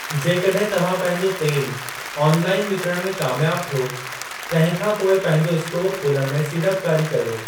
जेकॾहिं तव्हां पंहिंजो तेलु ऑनलाइन विकिणण में कामयाबु थियो, तंहिं खां पोइ पंहिंजो इस्टोर खोलण में सीड़पकारी कर्यो।